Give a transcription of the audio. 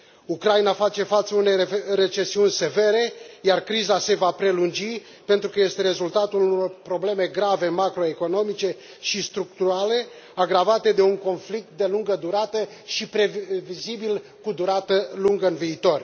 Ucraina face față unei recesiuni severe, iar criza se va prelungi pentru că este rezultatul unor probleme grave macroeconomice și structurale, agravate de un conflict de lungă durată și previzibil cu durată lungă în viitor.